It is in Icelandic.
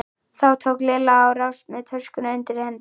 Þá tók Lilla á rás með töskuna undir hendinni.